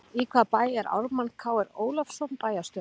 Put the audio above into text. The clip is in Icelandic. Í hvaða bæ er Ármann Kr Ólafsson bæjarstjóri?